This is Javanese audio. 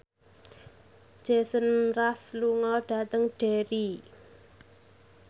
Jason Mraz lunga dhateng Derry